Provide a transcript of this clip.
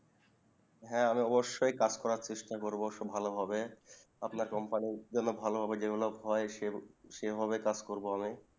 হ্যা আমি অবশ্যই কাজ করা চেষ্টা করবো খুব ভালো ভাবে আপনার Company র খুব ভালো জন্যে যে ভাবে সেভাবে কাজ করবো আমি